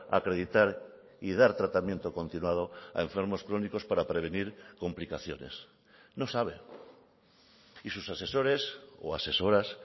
acreditar y dar tratamiento continuado a enfermos crónicos para prevenir complicaciones no sabe y sus asesores o asesoras